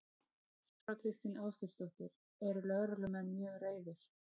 Þóra Kristín Ásgeirsdóttir: Eru lögreglumenn mjög reiðir?